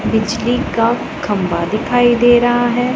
बिजली का खंभा दिखाई दे रहा है।